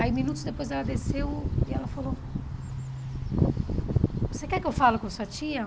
Aí minutos depois ela desceu e ela falou, você quer que eu falo com sua tia?